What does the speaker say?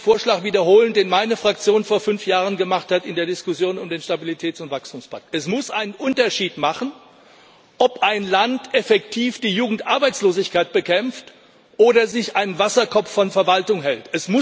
Ich will einen Vorschlag wiederholen, den meine Fraktion vor fünf Jahren in der Diskussion um den Stabilitäts und Wachstumspakt gemacht hat. Es muss einen Unterschied machen, ob ein Land effektiv die Jugendarbeitslosigkeit bekämpft oder sich einen Wasserkopf von Verwaltung hält.